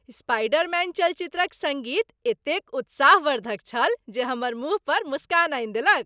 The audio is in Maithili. स्पाइडरमैन चलचित्रक सङ्गीत एतेक उत्साहवर्धक छल जे हमर मुँह पर मुस्कान आनि देलक।